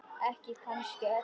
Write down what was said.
Ekki kannski öllu.